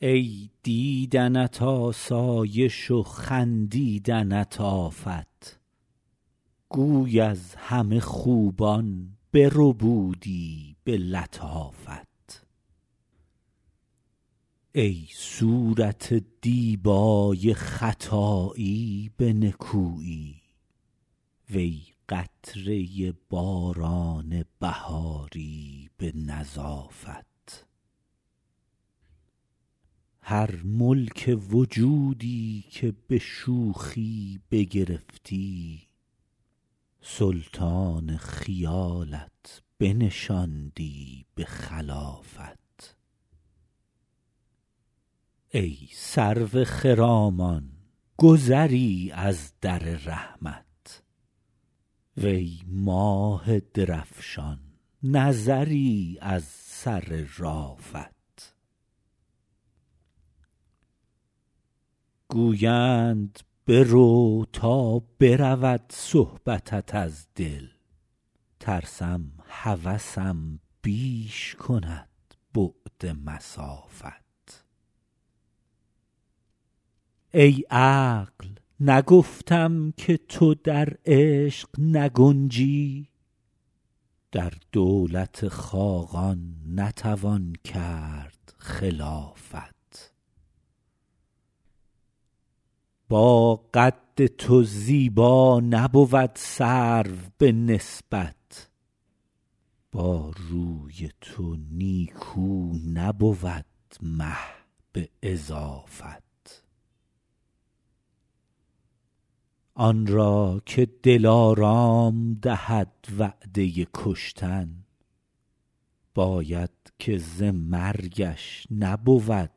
ای دیدنت آسایش و خندیدنت آفت گوی از همه خوبان بربودی به لطافت ای صورت دیبای خطایی به نکویی وی قطره باران بهاری به نظافت هر ملک وجودی که به شوخی بگرفتی سلطان خیالت بنشاندی به خلافت ای سرو خرامان گذری از در رحمت وی ماه درفشان نظری از سر رأفت گویند برو تا برود صحبتت از دل ترسم هوسم بیش کند بعد مسافت ای عقل نگفتم که تو در عشق نگنجی در دولت خاقان نتوان کرد خلافت با قد تو زیبا نبود سرو به نسبت با روی تو نیکو نبود مه به اضافت آن را که دلارام دهد وعده کشتن باید که ز مرگش نبود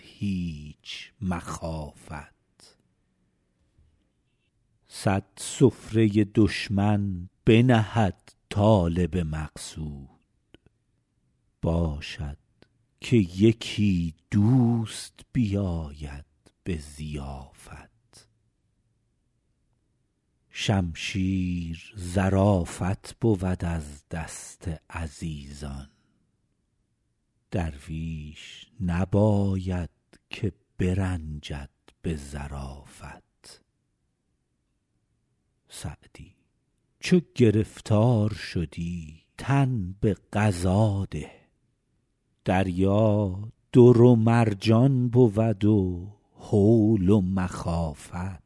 هیچ مخافت صد سفره دشمن بنهد طالب مقصود باشد که یکی دوست بیاید به ضیافت شمشیر ظرافت بود از دست عزیزان درویش نباید که برنجد به ظرافت سعدی چو گرفتار شدی تن به قضا ده دریا در و مرجان بود و هول و مخافت